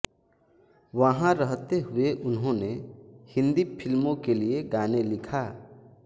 वहां रहते हुए उन्होंने हिन्दी फिल्मों के लिए गाने लिखा